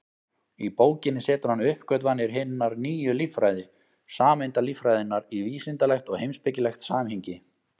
Í bókinni setur hann uppgötvanir hinnar nýju líffræði, sameindalíffræðinnar, í vísindalegt og heimspekilegt samhengi.